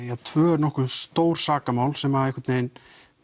tvö nokkuð stór sakamál sem að einhvern veginn